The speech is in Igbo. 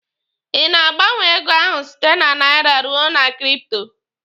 Ị na-gbanwe ego ahụ site na naira ruo na kripto?